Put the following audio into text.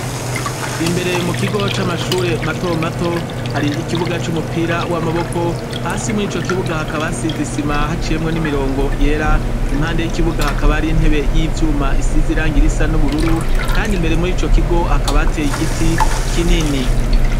Imbere mu kigo c'amashure mato mato hari ikibuga c'umupira w'amaboko, hasi murico kibuga hakaba hasize isima haciyemwo n'imirongo yera, impande y'ikibuga hakaba hari intebe y'ivyuma isize n'ibara ry'ubururu, kandi imbere murico kigo hakaba hateye igiti kinini.